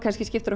skiptir